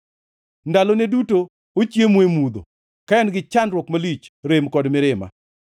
Ndalone duto ochiemo e mudho, ka en gi chandruok malich, rem kod mirima.